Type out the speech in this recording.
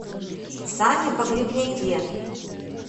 сане погребняке